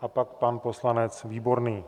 a pak pan poslanec Výborný.